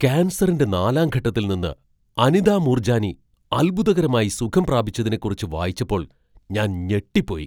കാൻസറിന്റെ നാലാം ഘട്ടത്തിൽ നിന്ന് അനിത മൂർജാനി അത്ഭുതകരമായി സുഖം പ്രാപിച്ചതിനെക്കുറിച്ച് വായിച്ചപ്പോൾ ഞാൻ ഞെട്ടിപ്പോയി.